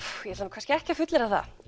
kannski ekki að fullyrða það